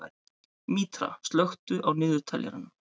Mítra, slökktu á niðurteljaranum.